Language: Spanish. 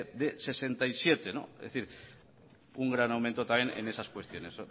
de hirurogeita zazpi es decir un gran aumento también en esas cuestiones